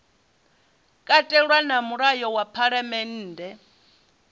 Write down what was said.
katelwa na mulayo wa phalammennde